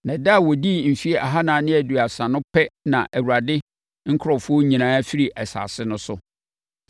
Na ɛda a wɔdii mfeɛ ahanan ne aduasa no pɛ na Awurade nkurɔfoɔ nyinaa firii asase no so.